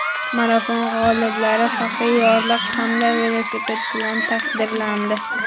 Marafon g‘oliblari faxriy yorliq hamda velosiped bilan taqdirlandi.